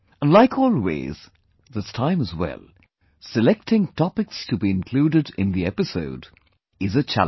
And like always, this time as well, selecting topics to be included in the episode, is a challenge